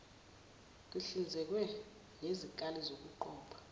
kuhlinzekwe ngezikali zokuqopha